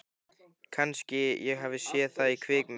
Kannski ég hafi séð það í kvikmynd.